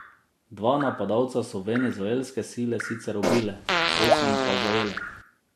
Dva napadalca so venezuelske sile sicer ubile, osem pa zajele.